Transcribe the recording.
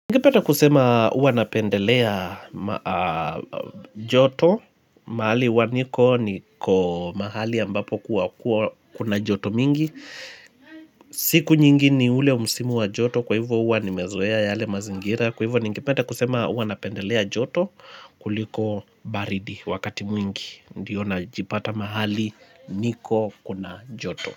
Ingipeta kusema uwa napendelea joto mahali uwa niko niko mahali ambapo kuna joto mingi. Siku nyingi ni ule umsimu wa joto kwa hivyo uwa nimezoea yale mazingira Kwa hivyo ningipeta kusema uwa napendelea joto kuliko baridi wakati mwingi Ndiyo na jipata mahali niko kuna joto.